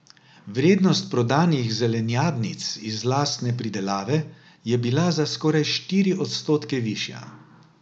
Vrednost prodanih zelenjadnic iz lastne pridelave je bila za skoraj štiri odstotke višja.